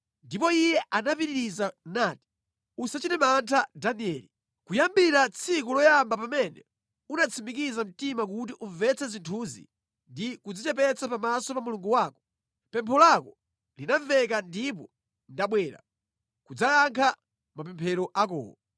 Ndipo iye anapitiriza nati, “Usachite mantha Danieli. Kuyambira tsiku loyamba pamene unatsimikiza mtima kuti umvetse zinthuzi ndi kudzichepetsa pamaso pa Mulungu wako, pempho lako linamveka ndipo ndabwera kudzayankha mapemphero akowo.